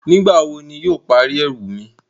Nígbàwó̀ ní iwo yóò pári ẹwù mi?